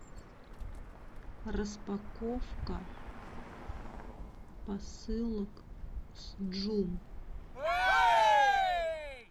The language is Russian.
распаковка посылок с джум